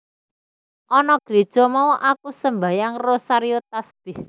Ana Gréja mau aku sembahyang rosario tasbèh